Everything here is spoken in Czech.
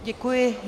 Děkuji.